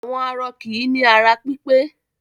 Àwọn arọ kì í ní ara pípẹ́.